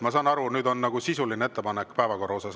Ma saan aru, et nüüd on sisuline ettepanek päevakorra kohta.